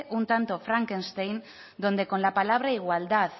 un tanto frankenstein donde con la palabra igualdad